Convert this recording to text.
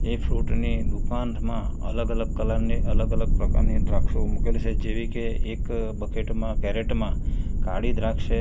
એ ફ્રુટની દુકાનમાં અલગ અલગ કલરની અલગ અલગ પ્રકારની દ્રાક્ષો મૂકેલી છે જેવી કે એક બકેટ માં કેરેટ માં કાળી દ્રાક્ષ છે.